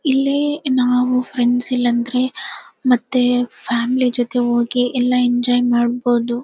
ಇಲ್ಲಿ ನಾವು ಫ್ರೆಂಡ್ಸ್ ಇಲ್ಲಾಂದ್ರೆ ಮತ್ತೆ ಫ್ಯಾಮಿಲಿ ಜೊತೆ ಹೋಗಿ ಎಲ್ಲಾ ಎಂಜಾಯ್ ಮಾಡಬಹುದು.